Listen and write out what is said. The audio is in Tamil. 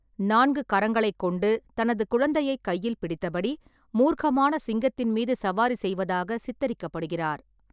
நான்கு கரங்களைக் கொண்டு, தனது குழந்தையைக் கையில் பிடித்தபடி, மூர்க்கமான சிங்கத்தின் மீது சவாரி செய்வதாக சித்தரிக்கப்படுகிறார்.